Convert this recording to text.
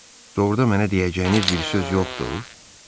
Doğrudan mənə deyəcəyiniz bir söz yoxdur?